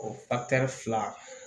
O fila